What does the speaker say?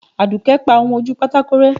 aduke pa ohún ojú pàtàkó rẹ